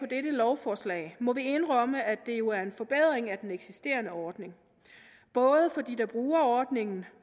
dette lovforslag må vi indrømme at det jo er en forbedring af den eksisterende ordning både for dem der bruger ordningen